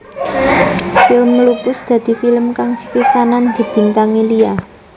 Film Lupus dadi film kang sepisanan dibintangi Lia